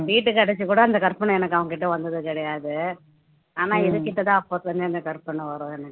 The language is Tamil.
வீட்டுக்கு அடைச்சு கூட அந்த கற்பனை எனக்கு அவன்கிட்ட வந்தது கிடையாது ஆனா இதுகிட்டதான் அப்போத்தில இருந்து கற்பனை வரும் எனக்கு